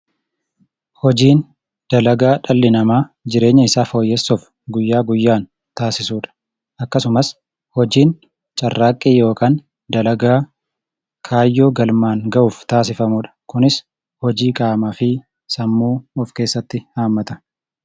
Hojiin dalagaa dhalli namaa jireenya isaa fooyyessuuf guyyaa guyyaan taasisu dha. Akkasumas hojiin carraaqqii yookaan dalagaa kaayyoo galmaan ga'uuf taasifamu dha. Kunis hojii qaamaa fi sammuu of keessatti hammata.